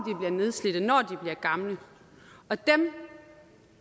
nedslidte når de bliver gamle og dem